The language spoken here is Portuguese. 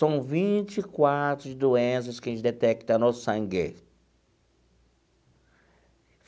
São vinte e quatro doenças que a gente detecta no sangue.